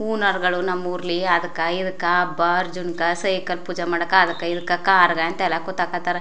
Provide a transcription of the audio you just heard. ಹೂನಾರಗಳು ನಮ್ಮ್ ಉರ್ಲಿ ಅದ್ಕ ಇದ್ಕ ಹಬ್ಬ್ ಅರ್ಜುನ್ಕ್ ಸೈಕಲ್ ಪೂಜೆ ಮಾಡಕ್ ಅದ್ಕ ಇದ್ಕ ಕಾರ್ ಗ್ ಅಂತ ಎಲ್ಲಾ ಕುತಾಕತ್ತರ್.